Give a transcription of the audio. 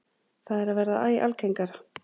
Það er að verða æ algengara.